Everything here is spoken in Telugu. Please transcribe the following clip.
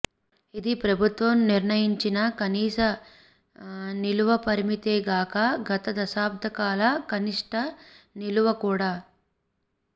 ఇది ప్రభుత్వం నిర్ణయించిన కనీస నిలువ పరిమితే గాక గత దశాబ్దకాల కనిష్ట నిలువ కూడా